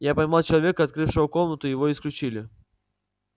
я поймал человека открывшего комнату и его исключили